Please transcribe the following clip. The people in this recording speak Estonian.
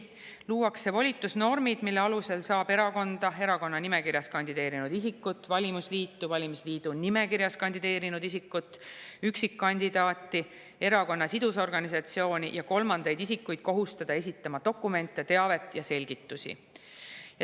Luuakse volitusnormid, mille alusel saab erakonda, erakonna nimekirjas kandideerinud isikut, valimisliitu, valimisliidu nimekirjas kandideerinud isikut, üksikkandidaati, erakonna sidusorganisatsiooni ja kolmandaid isikuid kohustada esitama dokumente, teavet ja selgitusi.